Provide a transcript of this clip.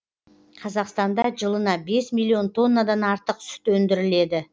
қазақстанда жылына бес миллион тоннадан артық сүт өндіріледі